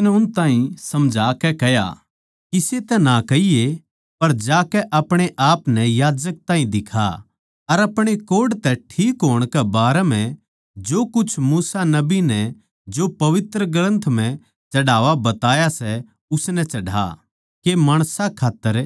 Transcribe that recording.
फेर उसनै उस ताहीं समझाकै कह्या किसे तै ना कहिए पर जाकै अपणे आपनै याजक ताहीं दिखा अर अपणे कोढ़ तै ठीक होण कै बारै म्ह जो कुछ मूसा नबी नै जो पवित्र ग्रन्थ म्ह चढ़ावा बताया सै उसनै चढ़ा के माणसां खात्तर